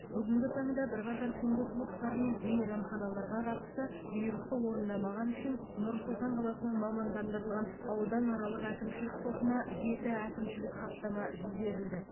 бүгінгі таңда бірқатар түнгі клубтар мен мейрамханаларға қатысты бұйрықты орындамағаны үшін нұр сұлтан қаласының мамандандырылған ауданаралық әкімшілік сотына жеті әкімшілік хаттама жіберілді